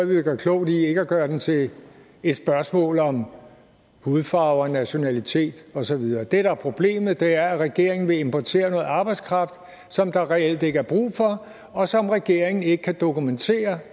vi klogt i ikke at gøre den til et spørgsmål om hudfarve og nationalitet og så videre det der er problemet er at regeringen vil importere noget arbejdskraft som der reelt ikke er brug for og som regeringen ikke kan dokumentere